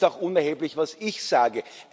Es ist auch unerheblich, was ich sage.